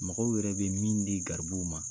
Mɔgɔw yɛrɛ bɛ min di garibuw ma